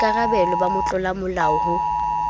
boikara belo ba motlolamolao ho